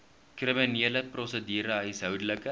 kriminele prosedure huishoudelike